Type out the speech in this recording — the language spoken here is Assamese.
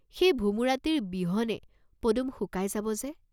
সেই ভোমোৰাটিৰ বিহনে পদুম শুকাই যাব যে!